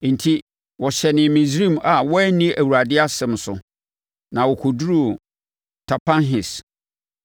Enti wɔhyɛnee Misraim a wɔanni Awurade asɛm so, na wɔkɔduruu Tapanhes.